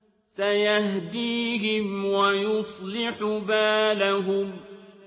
سَيَهْدِيهِمْ وَيُصْلِحُ بَالَهُمْ